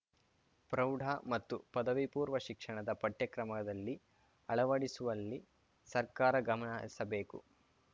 ಪ್ರೌಢ ಮತ್ತು ಪದವಿಪೂರ್ವ ಶಿಕ್ಷಣದ ಪಠ್ಯಕ್ರಮದಲ್ಲಿ ಅಳವಡಿಸುವಲ್ಲಿ ಸರ್ಕಾರ ಗಮನಹರಿಸಬೇಕು